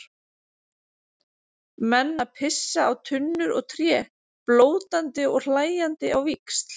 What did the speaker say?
Menn að pissa á tunnur og tré, blótandi og hlæjandi á víxl.